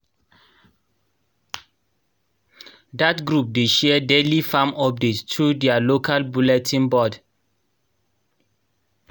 dat group dey share daily farm updates through their local bulletin board.